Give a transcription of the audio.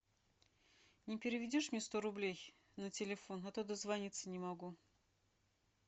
не переведешь мне сто рублей на телефон а то дозвониться не могу